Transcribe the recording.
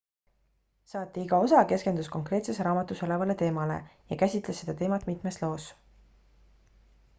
saate iga osa keskendus konkreetses raamatus olevale teemale ja käsitles seda teemat mitmes loos